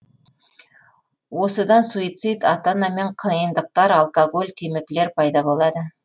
осыдан суицид ата анамен қиындықтар алкоголь темекілер пайда болады